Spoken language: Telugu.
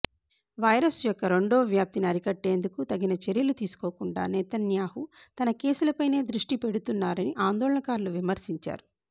వైరస్ యొక్క రెండో వ్యాప్తిని అరికట్టేందుకు తగిన చర్యలు తీసుకోకుండా నేతన్యాహు తన కేసులపైనే దృష్టి పెడుతున్నారని ఆందోళనకారులు విమర్శించారు